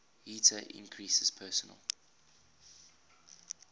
heater increases personal